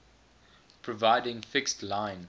providing fixed line